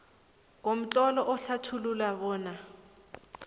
ngomtlolo uhlathulule bona